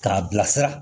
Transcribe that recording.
K'a bilasira